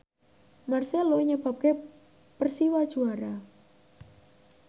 marcelo nyebabke Persiwa juara